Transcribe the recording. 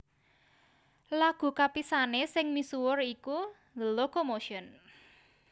Lagu kapisané sing misuwur iku The Locomotion